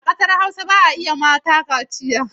A kasar Hausa ba a yiwa mata kaciya.